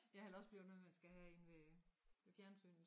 Ja eller også bliver det noget man skal have inde ved ved fjernsynet